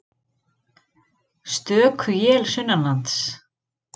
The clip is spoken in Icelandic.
Stöku él sunnanlands